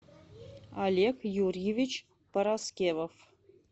олег юрьевич параскевов